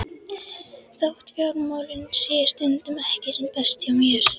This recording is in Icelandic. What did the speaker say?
Þótt fjármálin séu stundum ekki sem best hjá mér